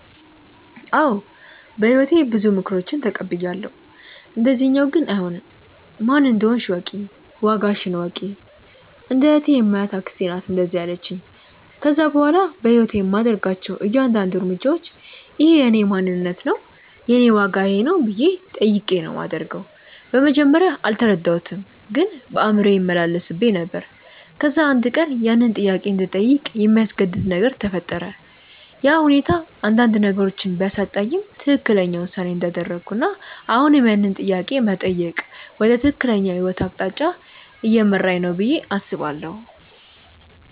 አዎ በህይወቴ ብዙ ምክሮችን ተቀብያለው፣ እንደዚኛው ግን አይሆንም። "ማን እንደሆንሽ እወቂ፣ ዋጋሽን እወቂ"። እንደ እህቴ የማያት አክስቴ ናት እንደዛ ያለቺኝ። ከዛ በኋላ በህይወቴ የማደርጋቸው እያንዳድንዱ እርምጃዎች" እኼ የእኔ ማንነት ነው? የኔ ዋጋ ይኼ ነው?" ብዬ ጠይቄ ነው ማደርገው። በመጀመርያ አልተረዳሁትም ግን በአእምሮዬ ይመላለስብኝ ነበር። ከዛ አንድ ቀን ያንን ጥያቄ እንድጠይቅ የሚያስገድድ ነገር ተፈጠረ፤ ያ ሁኔታ አንዳንድ ነገሮችን ቢያሳጣኝም ትክክለኛው ውሳኔ እንዳደረኩና አሁንም ያንን ጥያቄ መጠየቅ ወደ ትክክለኛው የህይወት አቅጣጫ እየመራኝ ነው ብዬ አስባለው።